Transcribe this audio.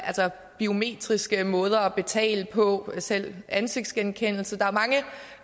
altså biometriske måder at betale på selv ansigtsgenkendelse der